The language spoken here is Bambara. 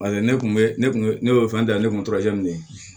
Paseke ne kun bɛ ne kun ne bɛ fɛn da yan ne kun t'o kɛ min ye